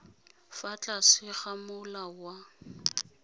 fa tlase ga molao wa